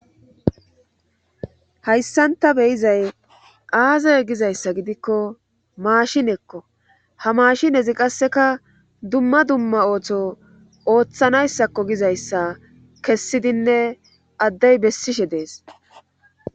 hayssanta beyizay aazay gizayssa gidikko maashinekko ha maashinezi qasseka dumma dumma ooththo ooththanayssakko gizayssa kessidinne addey bessishe dees